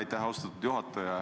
Aitäh, austatud juhataja!